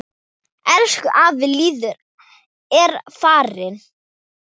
Elsku afi Lýður er farinn.